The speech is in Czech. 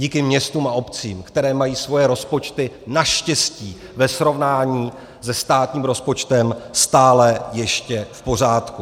Díky městům a obcím, které mají svoje rozpočty naštěstí ve srovnání se státním rozpočtem stále ještě v pořádku.